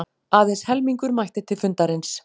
Aðeins helmingur mætti til fundarins